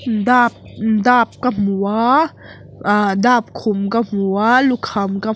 dap dap ka hmu a ah dap khum ka hmu a lukham ka hmu--